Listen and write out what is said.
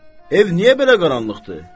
Ev niyə belə qaranlıqdır?